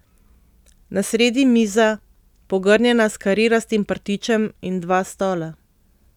Na sredi miza, pogrnjena s karirastim prtičem, in dva stola.